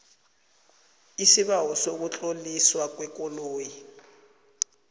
isibawo sokutloliswa kwekoloyi